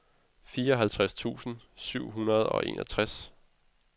fireoghalvtreds tusind syv hundrede og enoghalvtreds